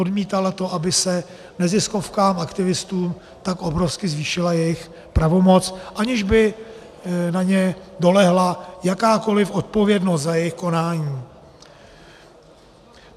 Odmítala to, aby se neziskovkám, aktivistům, tak obrovsky zvýšila jejich pravomoc, aniž by na ně dolehla jakákoliv odpovědnost za jejich konání.